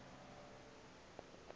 oozincemera